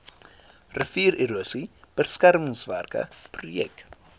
riviererosie beskermingswerke projek